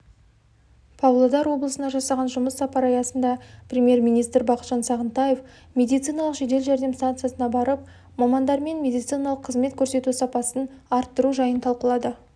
павлодар облысына жасаған жұмыс сапары аясындапремьер-министрбақытжан сағынтаев медициналық жедел жәрдем станциясына барып мамандармен медициналық қызмет көрсету сапасын арттыру жайын талқылады